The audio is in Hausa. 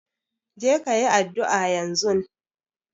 Je ka yi addu'a yanzun!